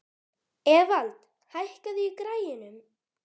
Evald, hækkaðu í græjunum.